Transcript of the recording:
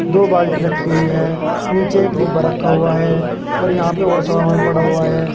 दो बाल्टी रखी हुई है नीचे एक डिब्बा रखा हुआ है और यहां पे और सामान पड़ा हुआ है।